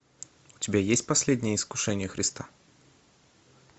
у тебя есть последнее искушение христа